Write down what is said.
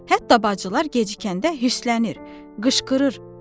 Hətta bacılar gecikəndə hüsslənir, qışqırır.